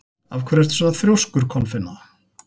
Af hverju ertu svona þrjóskur, Kolfinna?